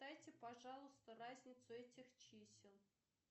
дайте пожалуйста разницу этих чисел